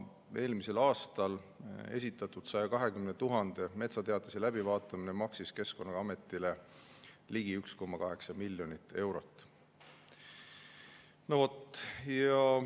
Eelmisel aastal esitatud 120 000 metsateatise läbivaatamine maksis Keskkonnaametile ligi 1,8 miljonit eurot.